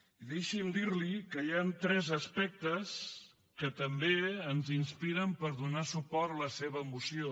i deixi’m dir li que hi han tres aspectes que també ens inspiren per donar suport a la seva moció